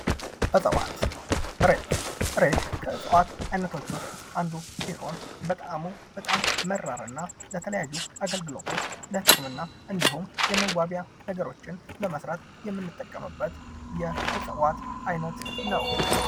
እፅዋት ፦ እሬት ፦ እሬት ከእጽዋት አይነቶች ውስጥ አንዱ ሲሆን በጣዕሙ በጣም መራር እና የተለያዩ አገልግሎቶች ለህክምና እንዲሁም የመዋቢያ ነገሮችን ለመስራት የምንጠቀምበት የእፅዋት አይነት ነው ።